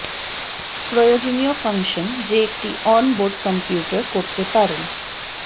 প্রয়োজনীয় ফাংশন যে একটি অন বোর্ড কম্পিউটার করতে পারেন